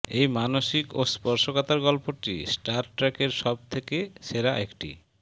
এই মানসিক ও স্পর্শকাতর গল্পটি স্টার ট্র্যাকের সব থেকে সেরা একটি